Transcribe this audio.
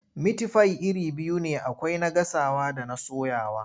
Mitifai iri biyu ne akwai na gasawa da na soyawa.